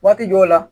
Waati jɔw la